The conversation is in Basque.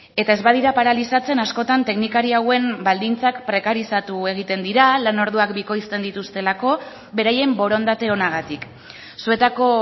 eta ez badira paralizatzen askotan teknikari hauen baldintzak prekarizatu egiten dira lanorduak bikoizten dituztelako beraien borondate onagatik zuetako